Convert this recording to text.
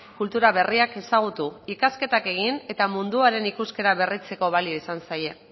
kultura berriak ezagutu ikasketak egin eta munduarekin ikuskera berretzeko balio izan zaie